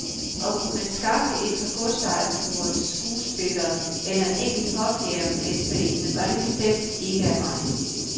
Og kunne man skaffe et par godsejerfruer, skuespillere eller en enkelt hofjægermesterinde, var det bestemt ikke af vejen.